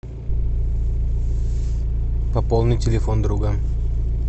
пополни телефон друга